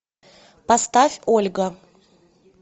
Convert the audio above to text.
поставь ольга